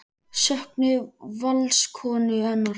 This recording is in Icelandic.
Söknuðu Valskonur hennar?